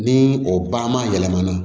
Ni o ba ma yɛlɛmana